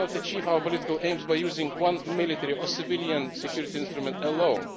We cannot achieve our political aims by using one military or civilian security instrument alone.